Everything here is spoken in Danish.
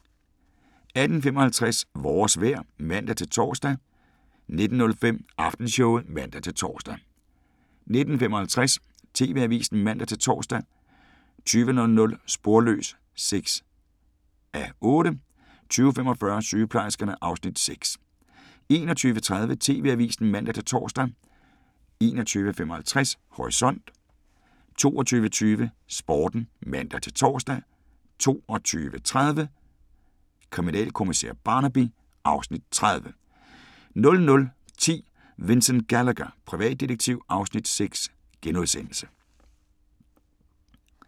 18:55: Vores vejr (man-tor) 19:05: Aftenshowet (man-tor) 19:55: TV-avisen (man-tor) 20:00: Sporløs (6:8) 20:45: Sygeplejerskerne (Afs. 6) 21:30: TV-avisen (man-tor) 21:55: Horisont 22:20: Sporten (man-tor) 22:30: Kriminalkommissær Barnaby (Afs. 30) 00:10: Vincent Gallagher, privatdetektiv (Afs. 6)*